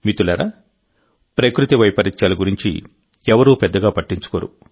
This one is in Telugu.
మిత్రులారాప్రకృతి వైపరీత్యాల గురించి ఎవరూ పెద్దగా పట్టించుకోరు